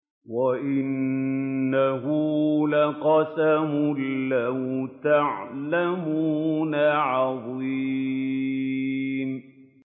وَإِنَّهُ لَقَسَمٌ لَّوْ تَعْلَمُونَ عَظِيمٌ